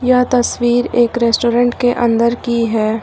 यह तस्वीर एक रेस्टोरेंट के अंदर की है।